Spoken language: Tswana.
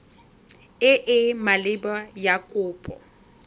e e maleba ya kopo